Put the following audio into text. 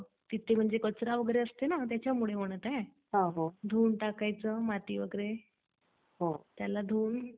मग त्या दृष्टींनी काम करतोय.मग तुझा काय विचार आहे? म्हणजे शेतात त्याचं काय उत्पादन करायचा विचार चाललाय का